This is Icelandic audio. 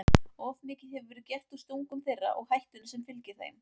Of mikið hefur verið gert úr stungum þeirra og hættunni sem fylgir þeim.